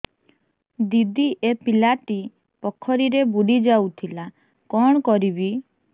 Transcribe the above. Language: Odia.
ଦିଦି ଏ ପିଲାଟି ପୋଖରୀରେ ବୁଡ଼ି ଯାଉଥିଲା କଣ କରିବି